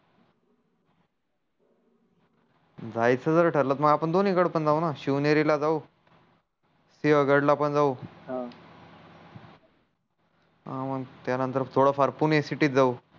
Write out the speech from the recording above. जायच जर ठरल तर मग आपण दोन्ही कडे पण जाऊ न शिवनेरी ला जाऊ सिहगड ला पण जाऊ त्यानंतर थोड फार पुणे सिटि जाऊ